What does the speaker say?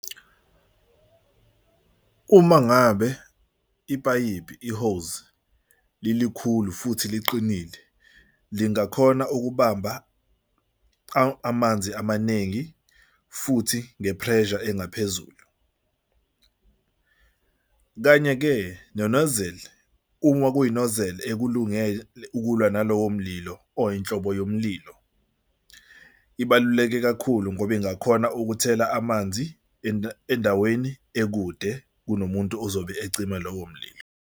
Uma ngabe ipayipi i-hose lilikhulu futhi liqinile, lingakhona ukubamba amanzi amaningi futhi nge-pressure engaphezulu. Kanye-ke ne-nozzle uma kuyi-nozzle ekulungele ukulwa nalowo mlilo or inhlobo yomlilo, ibaluleke kakhulu ngoba ingakhona ukuthela amanzi endaweni ekude kunomuntu ozobe ecima lowo mlilo.